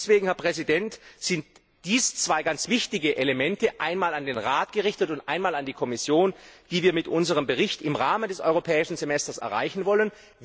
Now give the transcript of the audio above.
Deswegen, Herr Präsident, sind dies zwei ganz wichtige Elemente, einmal an den Rat gerichtet und einmal an die Kommission, die wir mit unserem Bericht im Rahmen des Europäischen Semesters erreichen wollen.